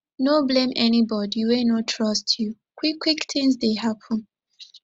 no blame anybodi wey no trust you quickquick tins dey happen